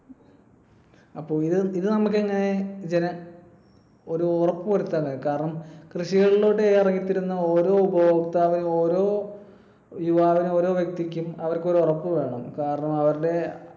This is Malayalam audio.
അപ്പൊ ഇത് നമുക്ക് എങ്ങിനെ ജന ~ ഒരു ഉറപ്പു വരുത്താൻ ആവും? കാരണം കൃഷികളിലോട്ട് ഇറങ്ങി ഓരോ ഉപഭോക്‌താവിനും ഓരോ യുവാവിനും ഓരോ വ്യക്തിക്കും അവർക്ക് ഒരു ഉറപ്പ് വേണം. കാരണം അവരുടെ